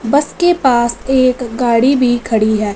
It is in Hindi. बस के पास एक गाड़ी भी खड़ी है।